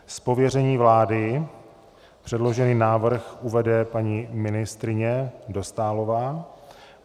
Z pověření vlády předložený návrh uvede paní ministryně Dostálová.